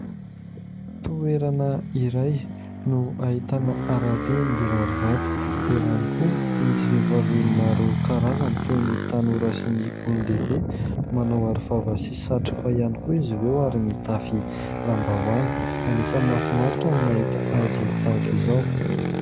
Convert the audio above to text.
Toerana iray no ahitana arabe mirary vato, eo ihany koa misy vehivavy maro karazany toy ny tanora sy ny olon-dehibe. Manao aro vava sy satroka ihany koa izy ireo ary mitafy lambahoany, anisany mahafinaritra no mahita azy tahaka izao.